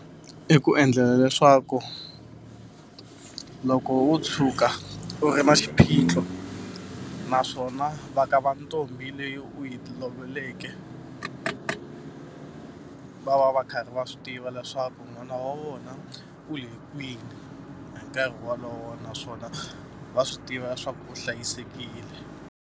I ku endlela leswaku loko wo tshuka u ri na xiphiqo naswona va ka va ntombi leyi u yi lovoleke, va va va karhi va swi tiva leswaku n'wana wa vona u le kwihi hi nkarhi wolowo naswona va swi tiva swa ku u hlayisekile.